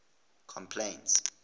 complaints